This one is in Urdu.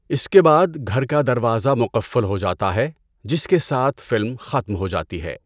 اس کے بعد گھر کا دروازہ مقفل ہو جاتا ہے، جس کے ساتھ فلم ختم ہو جاتی ہے۔